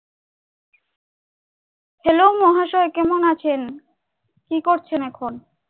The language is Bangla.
hello মহাশয়, কেমন আছেন? কি করছেন এখন?